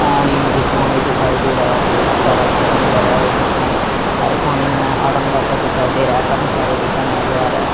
पानी ही पानी दिखाई दे रहा है बहुत सारा पानी भरा है और पानी में अड़ंगा सा दिखाई दे रहा है --